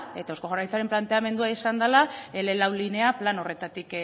eta eusko jaurlaritzaren planteamendua izan dela ele lau linea plan horretatik